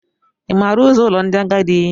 Ị ma ụzọ ụlọ ndị agadi?